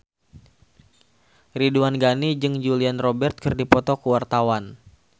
Ridwan Ghani jeung Julia Robert keur dipoto ku wartawan